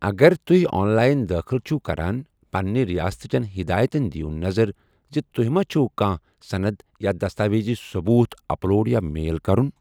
اگر تُہہِ online دٲخل چِھو کَران، پنٛنہِ رِیاستٕچن ہِدایتَن دیٖو نَظر زِ تۄہہِ ما چَھو کانٛہہ صند یا دستاویزی ثٔبوٗت اپلوڈ یا میل کرُن ۔